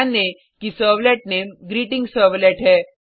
ध्यान दें कि सेर्वलेट नेम ग्रीटिंगसर्वलेट है